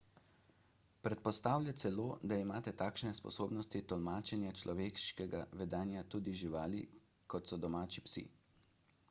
predpostavlja celo da imajo takšne sposobnosti tolmačenja človeškega vedenja tudi živali kot so domači psi